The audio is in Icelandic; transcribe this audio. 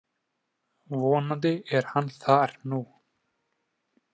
Vonandi er hann þar nú.